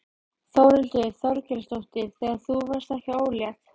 Þórhildur Þorkelsdóttir: Þegar þú varðst ekki ólétt?